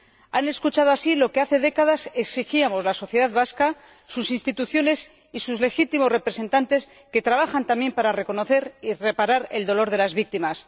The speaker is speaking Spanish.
Han escuchado, así, lo que hace décadas exigíamos la sociedad vasca, sus instituciones y sus legítimos representantes, que trabajan también para reconocer y reparar el dolor de las víctimas.